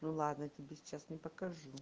ну ладно тебе сейчас не покажу